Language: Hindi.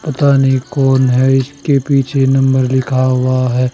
पता नहीं कौन है इसके पीछे नंबर लिखा हुआ है।